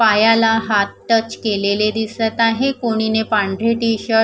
पायाला हात टच केलेले दिसत आहे कोणी ने पांढरे टी शर्ट --